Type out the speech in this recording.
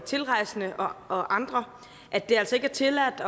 tilrejsende og andre at det altså ikke er tilladt